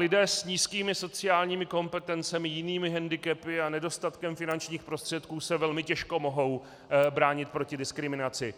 Lidé s nízkými sociálními kompetencemi, jinými hendikepy a nedostatkem finančních prostředků se velmi těžko mohou bránit proti diskriminaci,